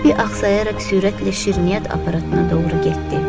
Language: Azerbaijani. Robbi axsıyaraq sürətlə şirniyyat aparatına doğru getdi.